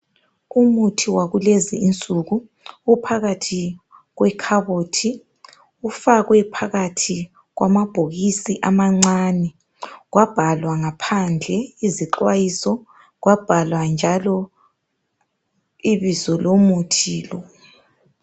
Umuthi wakulezi insuku uphakathi kwekhabothi ufakwe phakathi kwamabhokisi amancane kwabhalwa ngaphandle izixwayiso kwabhalwa njalo ibizo lomuthi lo .